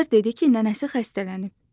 Azər dedi ki, nənəsi xəstələnib.